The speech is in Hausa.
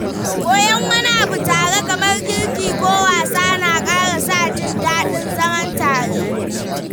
Koyon wani abu tare, kamar girki ko wasa, na ƙara sa jin daɗin zama tare.